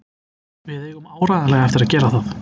Við eigum áreiðanlega eftir að gera það.